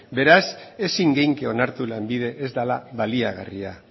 beraz ezin genezake onartu lanbide ez dela baliagarria